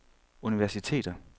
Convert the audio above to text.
universiteter